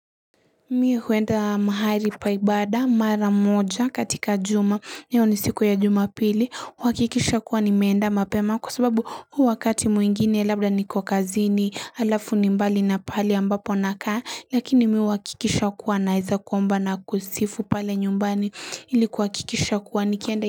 Mi huenda mahali pa ibada mara moja katika juma. Hiyo ni siku ya jumapili. Huakikisha kuwa nimeenda mapema kwa sababu huu wakati mwingine labda niko kazini halafu ni mbali na pale ambapo nakaa lakini mi huakikisha kuwa naeza kuomba na kusifu pale nyumbani ili kuhakikisha kuwa nikienda.